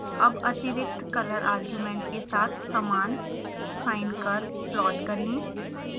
अब अतिरिक्त color argument के साथ समान sine curve प्लॉट करें